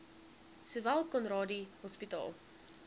sowel conradie hospitaal